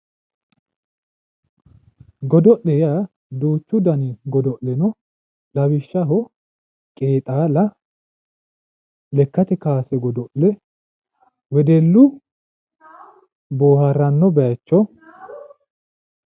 godo'le yaa duuchu dani godo'le no lawishshaho qeexaala lekkate kaase godo'le wedellu boohaaranno bayiicho.